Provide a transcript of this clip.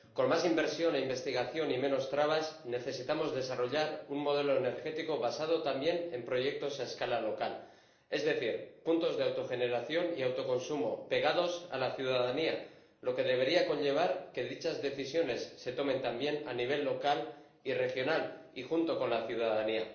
Con más inversión e investigación y menos trabas, necesitamos desarrollar un modelo energético basado también en proyectos a escala local, es decir, puntos de autogeneración y autoconsumo pegados a la ciudadanía, lo que debería conllevar que dichas decisiones se tomen también a nivel local y regional y junto con la ciudadanía.